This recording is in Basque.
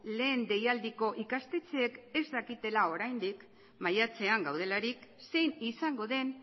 lehen deialdiko ikastetxeek ez dakitela oraindik maiatzean gaudelarik zein izango den